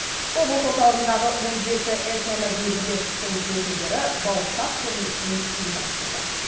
облыс орталығындағы он жеті этномәдени бірлестіктің өкілдері бауырсақ көрмесін ұйымдастырды